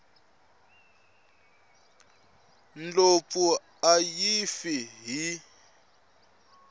ndlopfu a yi fi hi